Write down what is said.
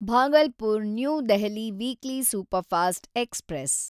Bhagalpur New Delhi weekly superfast express